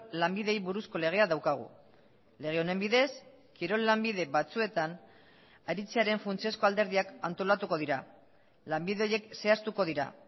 lanbideei buruzko legea daukagu lege honen bidez kirol lanbide batzuetan aritzearen funtsezko alderdiak antolatuko dira lanbide horiek zehaztuko dira